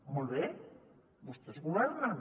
molt bé vostès governen